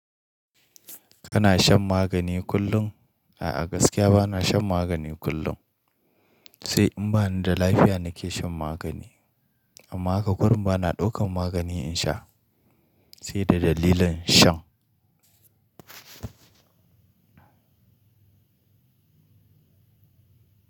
Kana shan magani kullum? A'a gaskiya ba na shan magani kullum. Sai in bani da lafiya nake shan magani amma haka kurum ba na daukan magani in sha sai da dalilin shan.